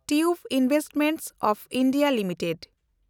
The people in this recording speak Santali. tube Investments of India limited